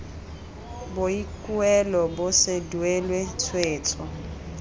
boikuelo bo se duelwe tshwetso